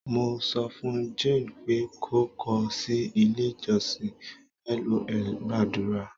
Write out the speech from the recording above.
mo sofun jane pe ko ko si ile ijosin lol gbadura